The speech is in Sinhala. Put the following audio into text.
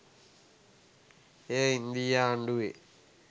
එය ඉන්දීය ආණ්ඩුවේ